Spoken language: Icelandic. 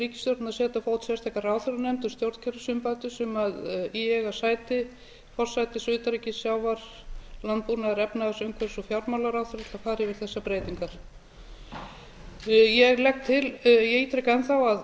ríkisstjórnin að setja á fót sérstaka ráðherranefnd um stjórnkerfisumbætur sem í eiga sæti forsætis utanríkis sjávar landbúnaðar efnahags umhverfis og fjármálaráðherra til að fara yfir þessar breytingar ég ítreka